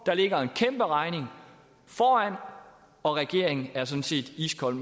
der ligger en kæmperegning foran og regeringen er sådan set iskold